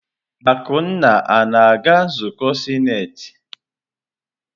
Akunna na-aga nzukọ sinetị?